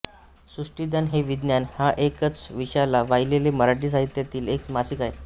सृष्टिज्ञान हे विज्ञान या एकाच विषयाला वाहिलेले मराठी साहित्यातील एक मासिक आहे